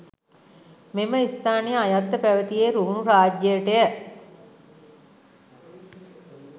මෙම ස්ථානය අයත්ව පැවැතියේ රුහුණු රාජ්‍යයට ය.